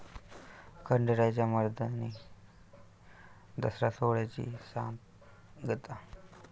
खंडेरायाच्या 'मर्दानी दसरा' सोहळ्याची सांगता